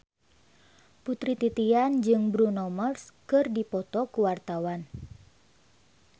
Putri Titian jeung Bruno Mars keur dipoto ku wartawan